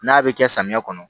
N'a bɛ kɛ samiya kɔnɔ